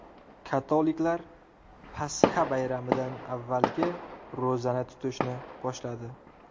Katoliklar Pasxa bayramidan avvalgi ro‘zani tutishni boshladi.